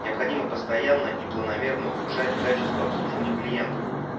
необходимо постоянно и планомерно улучшать качество обслуживания клиентов